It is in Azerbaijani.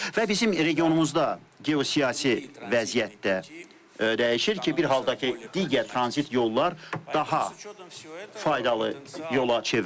Və bizim regionumuzda geosiyasi vəziyyət də dəyişir ki, bir halda ki, digər tranzit yollar daha faydalı yola çevrilirdi.